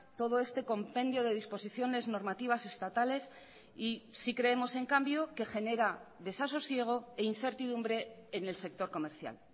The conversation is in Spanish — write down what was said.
todo este compendio de disposiciones normativas estatales y sí creemos en cambio que genera desasosiego e incertidumbre en el sector comercial